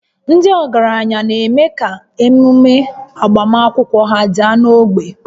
Ndị ọgaranya na-eme ka ememe agbamakwụkwọ ha daa n'ogbe